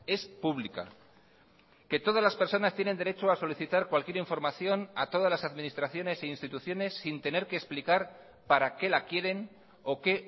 es pública que todas las personas tienen derecho a solicitar cualquier información a todas las administraciones e instituciones sin tener que explicar para qué la quieren o qué